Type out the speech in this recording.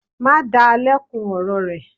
Má da lẹ́kun ọ̀rọ̀ rẹ.